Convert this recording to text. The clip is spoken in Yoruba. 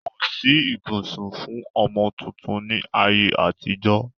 Kosi ìbọsẹ̀ fún ọmọ tuntun ni ayé àtijọ́